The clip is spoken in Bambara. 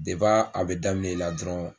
De dep'a a bi daminɛ i la dɔrɔn